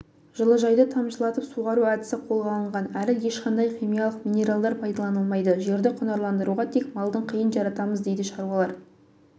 жылыжайда тамшылатып суғару әдісі қолға алынған әрі ешқандай химиялық минералдар пайдаланылмайды жерді құнарландыруға тек малдың қиын жаратамыз дейді шаруалар